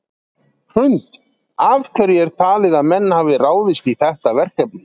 Hrund: Af hverju er talið að menn hafi ráðist í þetta verkefni?